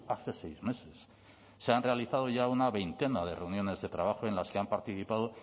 hace seis meses se han realizado ya una veintena de reuniones de trabajo en las que han participado